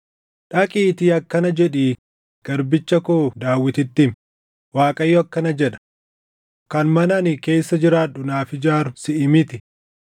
“Dhaqiitii akkana jedhii garbicha koo Daawititti himi; ‘ Waaqayyo akkana jedha: Kan mana ani keessa jiraadhu naaf ijaaru siʼi miti.